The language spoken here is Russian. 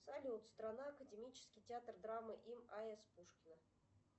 салют страна академический театр драмы им а с пушкина